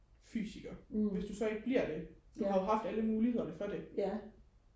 fysiker hvis du så ikke bliver det du har jo haft alle muligheder for det ja